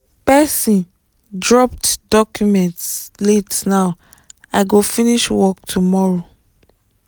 person dropped documents la ten ow i go finish work tomorrow